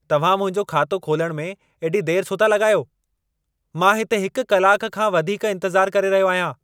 तव्हां मुंहिंजो खातो खोलण में एॾी देर छो था लॻायो? मां हिते हिक कलाक खां वधीक इंतज़ार करे रहियो आहियां।